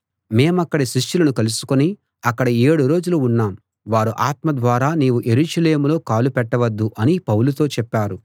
మేమక్కడి శిష్యులను కలుసుకుని అక్కడ ఏడు రోజులు ఉన్నాం వారు ఆత్మ ద్వారా నీవు యెరూషలేములో కాలు పెట్టవద్దు అని పౌలుతో చెప్పారు